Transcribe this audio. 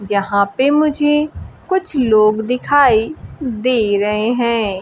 जहां पे मुझे कुछ लोग दिखाई दे रहे हैं।